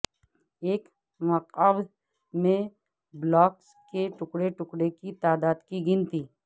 ایک مکعب میں بلاکس کے ٹکڑے ٹکڑے کی تعداد کی گنتی